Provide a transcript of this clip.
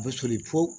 A bɛ soli pewu